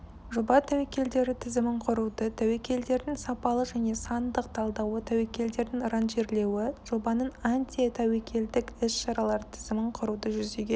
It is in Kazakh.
жоба тәуекелдері тізімін құруды тәуекелдердің сапалы және сандық талдауы тәуекелдердің ранжирлеуі жобаның антитәуекелдік іс-шаралар тізімін құруды жүзеге